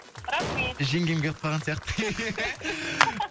рахмет жеңгем келіп қалған сияқты